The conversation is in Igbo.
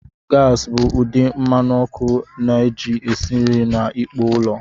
Gasi bụ ụdị mmanụ ọkụ a na-eji esi nri na ikpo ụlọ.